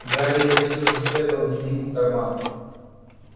гарри всё же спрятал дневник в карман